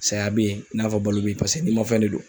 Saya bɛ yen, i n'a fɔ balo be yen, paseke ninmafɛn de don.